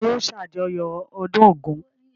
Ta ni yóò ṣàjọyọ̀ ọdún Ògún?